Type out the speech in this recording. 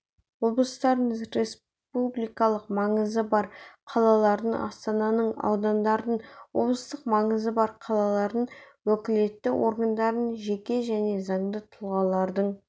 облыстардың республикалық маңызы бар қалалардың астананың аудандардың облыстық маңызы бар қалалардың уәкілетті органдарының жеке және заңды тұлғалардың